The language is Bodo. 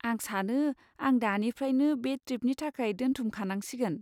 आं सानो आं दानिफ्रायनो बे ट्रिपनि थाखाय दोनथुमखानांसिगोन।